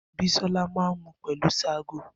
Bisola máa n mu pelu ṣágo.